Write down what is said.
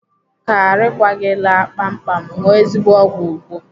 Ka arịkwa gị laa kpamkpam, ṅụọ ezigbo ọgwụ Igbo.